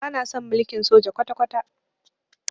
Bana son mulkin soja kwata-kwata.